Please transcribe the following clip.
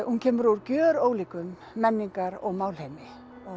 hún kemur úr gjörólíkum menningar og málheimi